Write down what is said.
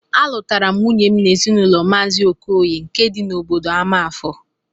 Alụtaram nwunyem n'ezinụlọ mazi okoye nke di na obodo amafor